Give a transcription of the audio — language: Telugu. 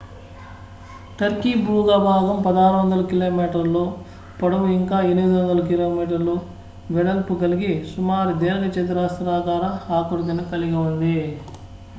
టర్కీ భూభాగం 1,600 కిలోమీటర్ల 1,000 మై పొడవు ఇంకా 800 కిమీ 500 మై వెడల్పుకలిగి సుమారు దీర్ఘచతురస్రాకార ఆకృతిని కలిగి ఉంది